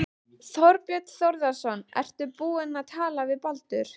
Þorbjörn Þórðarson: Ertu búinn að tala við Baldur?